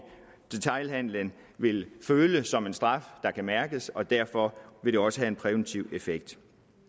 detailhandelen vil føle som en straf der kan mærkes og derfor vil det også have en præventiv effekt